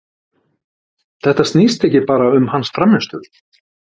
Þetta snýst ekki bara um hans frammistöðu.